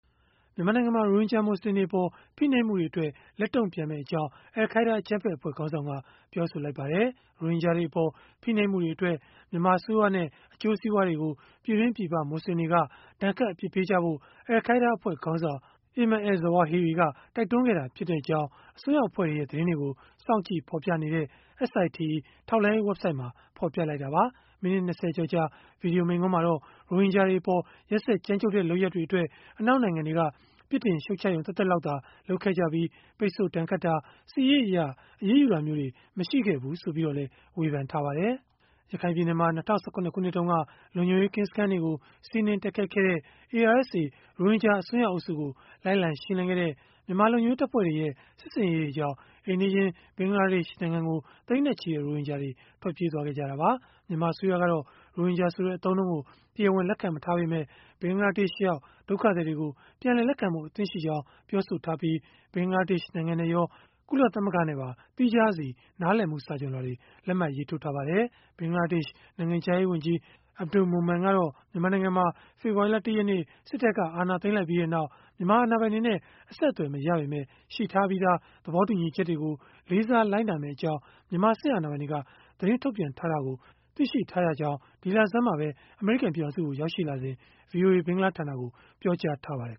မြန်မာနိုင်ငံမှာ ရိုဟင်ဂျာ မွတ်ဆလင်တွေအပေါ် ဖိနှိပ်မှုတွေအတွက် လက်တုန့်ပြန်မယ့်အကြောင်း အယ်လ်ခိုင်းဒါး အကြမ်းဖက်အဖွဲ့ ခေါင်းဆောင်က ပြောဆိုလိုက်ပါတယ်။ ရိုဟင်ဂျာတွေအပေါ် ဖိနှိပ်မှုတွေအတွက် မြန်မာအစိုးရနဲ့ အကျိုးစီးပွားတွေကို ပြည်တွင်း၊ ပြည်ပ မွတ်ဆလင်တွေ ဒဏ်ခတ်အပြစ်ပေးကြဖို့ အယ်လ်ခိုင်းဒါးအဖွဲ့ခေါင်းဆောင် Ayman al-Zawahiri က တိုက်တွန်းခဲ့တာဖြစ်ကြောင်း အစွန်းရောက်အဖွဲ့တွေရဲ့ သတင်းတွေကို စောင့်ကြည့်ဖော်ပြနေတဲ့ SITE ထောက်လှမ်းရေး ဝဘ်ဆိုဒ်မှာ ဖော်ပြလိုက်တာပါ။ မိနစ် ၂၀ ကျော်ကြာ ဗွီဒီယိုမိန့်ခွန်းမှာတော့ ရိုဟင်ဂျာတွေအပေါ် ရက်စက်ကြမ်းကြုတ်တဲ့ လုပ်ရပ်အတွက် အနောက်နိုင်ငံတွေက ပြစ်တင်ရှုတ်ချရုံ သက်သက်လောက်သာ လုပ်ခဲ့ကြပြီး၊ ပိတ်ဆို့ဒဏ်ခတ်တာ၊ စစ်ရေးအရ အရေးယူတာမျိုးတွေ မရှိခဲ့ဖူးဆိုပြီးတော့လည်း ဝေဖန်ထားပါတယ်။ ရခိုင်ပြည်နယ်မှာ ၂၀၁၇ ခုနှစ်တုန်းက လုံခြုံရေးကင်းစခန်းတွေကို စီးနင်းတိုက်ခိုက်ခဲ့တဲ့ ARSA ရိုဟင်ဂျာ အစွန်းရောက်အုပ်စုကို လိုက်လံရှင်းလင်းခဲ့တဲ့ မြန်မာလုံခြုံရေး တပ်ဖွဲ့တွေရဲ့ စစ်ဆင်ရေးတွေကြောင့် အိမ်နီးချင်း ဘင်္ဂလားဒေ့ရှ်နိုင်ငံကို သိန်းနဲ့ချီတဲ့ ရိုဟင်ဂျာတွေ ထွက်ပြေးသွားခဲ့ကြတာပါ။ မြန်မာအစိုးရကတော့ ရိုဟင်ဂျာဆိုတဲ့ အသုံးအနှုန်းကို တရားဝင် လက်မခံပေမဲ့ ဘင်္ဂလားဒေ့ရှ်ရောက် ဒုက္ခသည်တွေကို ပြန်လည်လက်ခံဖို့ အသင့်ရှိကြောင်း ပြောဆိုထားပြီး ဘင်္ဂလားဒေ့ရှ်နိုင်ငံနဲ့ရော ကုလသမဂ္ဂနဲ့ပါ သီးခြားစီ နားလည်မှု စာချွန်လွှာတွေ လက်မှတ်ရေးထိုးထားပါတယ်။ ဘင်္ဂလားဒေ့ရှ် နိုင်ငံခြားရေး ဝန်ကြီး Abdul Momen ကတော့ မြန်မာနိုင်ငံမှာ ဖေဖော်ဝါရီလ ၁ ရက်နေ့ စစ်တပ်က အာဏာသိမ်းလိုက်ပြီးနောက် မြန်မာအာဏာပိုင်တွေနဲ့ အဆက်အသွယ်မရပေမဲ့ ရှိထားပြီးသား သဘောတူညီချက်တွေကို လေးစားလိုက်နာမယ့်အကြောင်း မြန်မာစစ်အာဏာပိုင်တွေက သတင်းထုတ်ပြန်ထားတယ်လို့ သိရှိထားရကြောင်း ဒီလဆန်းမှာပဲ အမေရိကန် ပြည်ထောင်စုကို ရောက်ရှိလာစဉ် ဗွီအိုအေ ဘင်္ဂလားဌာနကို ပြောကြားထားပါတယ်